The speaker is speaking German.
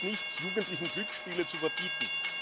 Es nutzt nichts, Jugendlichen Glücksspiele zu verbieten.